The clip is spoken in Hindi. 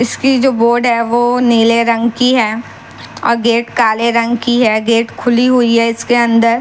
इसकी जो बोर्ड है वो नीले रंग की है और गेट काले रंग की है गेट खुली हुई है इसके अंदर--